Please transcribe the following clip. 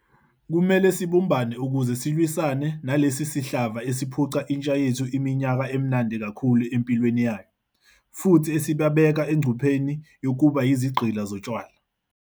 Kumele sibumbane ukuze silwisane nalesi sihlava esiphuca intsha yethu iminyaka emnandi kakhulu empilweni yayo, futhi esibabeka engcupheni yokuba yizigqila zotshwala.